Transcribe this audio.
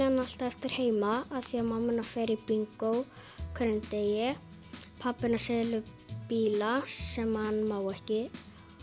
hana alltaf eftir heima af því að mamma hennar fer í bingó á hverjum degi pabbi hennar selur bíla sem hann má ekki